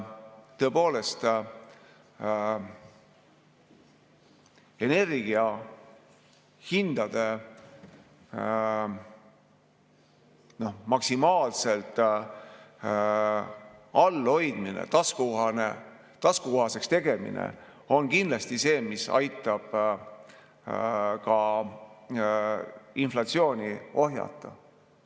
Tõepoolest on energiahindade maksimaalselt all hoidmine ja taskukohaseks tegemine kindlasti see, mis aitab ka inflatsiooni ohjata.